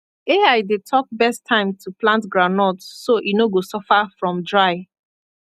ai dey talk best time to plant groundnut so e no go suffer from dry